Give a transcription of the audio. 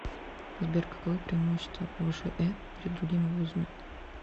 сбер каковы преимущества вшэ перед другими вузами